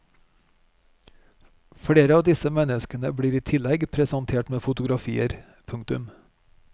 Flere av disse menneskene blir i tillegg presentert med fotografier. punktum